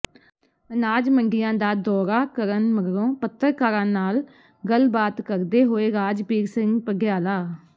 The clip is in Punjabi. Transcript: ਅਨਾਜ ਮੰਡੀਆਂ ਦਾ ਦੌਰਾ ਕਰਨ ਮਗਰੋਂ ਪੱਤਰਕਾਰਾਂ ਨਾਲ ਗੱਲਬਾਤ ਕਰਦੇ ਹੋਏ ਰਾਜਬੀਰ ਸਿੰਘ ਪਡਿਆਲਾ